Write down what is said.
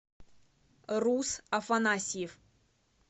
рус афанасьев